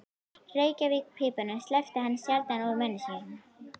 Reykjarpípunni sleppti hann sjaldan úr munni sér.